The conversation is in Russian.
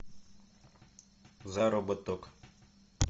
заработок